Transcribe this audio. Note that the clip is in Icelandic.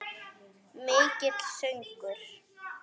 Mikill söngur.